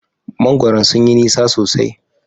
Mangwaron sun yi nisa sosai.